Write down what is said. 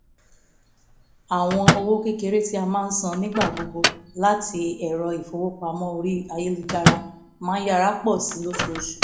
àwọn owó kékeré tí a máa san nígbà gbogbo láti ẹ̀rọ ìfowópamọ́ orí ayélujára máa yára pọ̀ sí i lóṣooṣù